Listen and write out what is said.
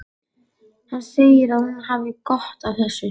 Hann segir að hún hafi gott af þessu.